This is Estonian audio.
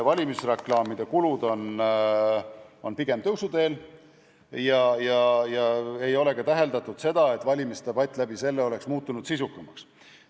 Valimisreklaamide kulud on pigem tõusuteel ja ei ole ka täheldatud seda, et valimisdebatt oleks muutunud sisukamaks.